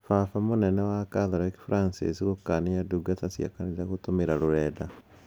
Baba mũnene wa Kathoriki Franciss gũkania ndungata cia kanitha gũtumira rũrenda cia